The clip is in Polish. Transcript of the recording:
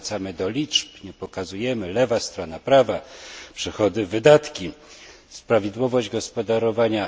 Nie wracamy do liczb, nie pokazujemy lewa strona, prawa, przychody, wydatki, prawidłowość gospodarowania